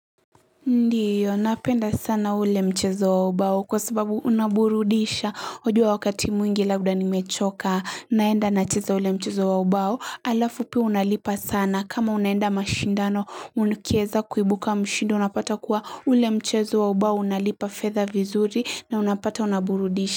Ndiyo napenda sana ule mchezo wa ubao kwa sababu unaburudisha wajua wakati mwingi labda nimechoka naenda nacheza ule mchezo wa ubao alafu pia unalipa sana kama unaenda mashindano ukieza kuibuka mshindi unapata kuwa ule mchezo wa ubao unalipa fedha vizuri na unapata unaburudisha.